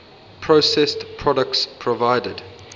processed products provided